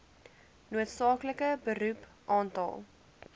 noodsaaklike beroep aantal